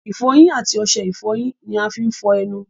ìfọyín àti osẹ ìfọyín ni a fí ń fọ́ọ́ ẹnu